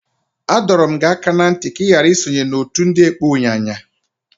Adọrum gi aka na nti ka i ghara isonye n'otu ndi ekpo unyanya!